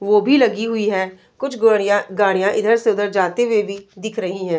वो भी लगी हुई है। कुछ गोड़ीया गाड़ियाँ इधर से उधर जाते हुए भी दिख रही हैं।